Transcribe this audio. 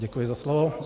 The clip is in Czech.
Děkuji za slovo.